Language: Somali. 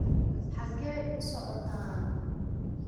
xageed u socotaan